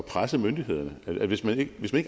presse myndighederne hvis man ikke